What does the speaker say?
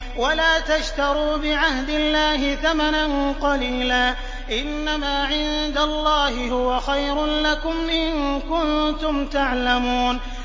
وَلَا تَشْتَرُوا بِعَهْدِ اللَّهِ ثَمَنًا قَلِيلًا ۚ إِنَّمَا عِندَ اللَّهِ هُوَ خَيْرٌ لَّكُمْ إِن كُنتُمْ تَعْلَمُونَ